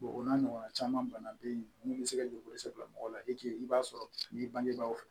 o n'a ɲɔgɔnna caman fana be yen min be se ka juru sara mɔgɔw la i b'a sɔrɔ n'i bangebaaw fɛ